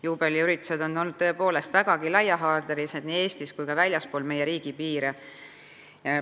Juubeliüritused on olnud tõepoolest vägagi laiahaardelised nii Eestis kui ka väljaspool meie riigipiiri.